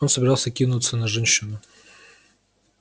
он собирался кинуться на женщину